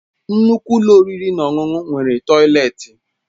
Nnukwu ụlọ oriri na ọṅụṅụ nwere tọileti